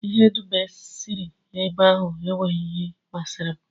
Ihe dum e siri ebe ahụ enweghị nke masịrị m.